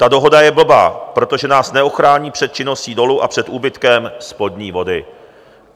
Ta dohoda je blbá, protože nás neochrání před činností dolu a před úbytkem spodní vody.